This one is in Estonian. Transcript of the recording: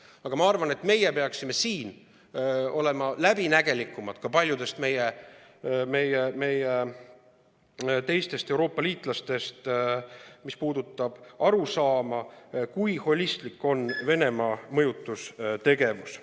Aga ma arvan, et meie peaksime siin olema läbinägelikumad ka paljudest meie Euroopa liitlastest, mis puudutab arusaama, kui holistlik on Venemaa mõjutustegevus.